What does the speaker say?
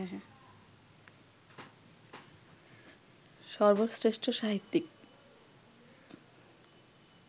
সর্বশ্রেষ্ঠ সাহিত্যিক